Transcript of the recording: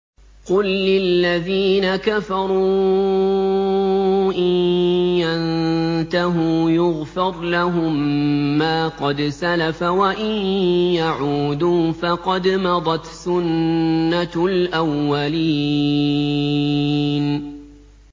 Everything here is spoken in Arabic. قُل لِّلَّذِينَ كَفَرُوا إِن يَنتَهُوا يُغْفَرْ لَهُم مَّا قَدْ سَلَفَ وَإِن يَعُودُوا فَقَدْ مَضَتْ سُنَّتُ الْأَوَّلِينَ